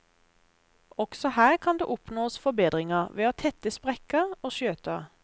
Også her kan det oppnås forbedringer ved å tette sprekker og skjøter.